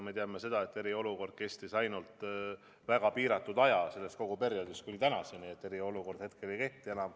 Me teame seda, et eriolukord kestis ainult väga piiratud aja kogu sellest perioodist kuni tänaseni, eriolukord hetkel enam ei kehti.